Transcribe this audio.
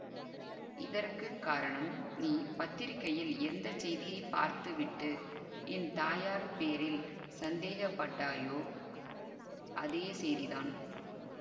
இதற்கு காரணம் நீ பத்திரிகையில் எந்த செய்தியைப் பார்த்துவிட்டு என் தாயார் பேரில் சந்தேகப்பட்டாயோ அதே செய்திதான்